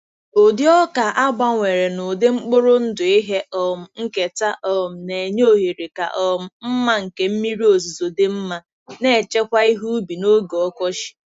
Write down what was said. Ụdị ọka a gbanwere n'ụdị mkpụrụ ndụ ihe um nketa um na-enye ohere ka um mma nke mmiri ozuzo dị mma, na-echekwa ihe ubi n'oge ọkọchị.